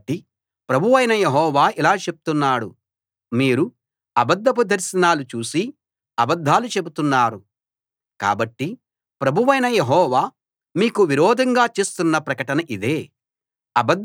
కాబట్టి ప్రభువైన యెహోవా ఇలా చెప్తున్నాడు మీరు అబద్ధపు దర్శనాలు చూసి అబద్ధాలు చెప్తున్నారు కాబట్టి ప్రభువైన యెహోవా మీకు విరోధంగా చేస్తున్న ప్రకటన ఇదే